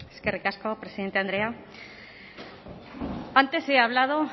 eskerrik asko presidente andrea antes he hablado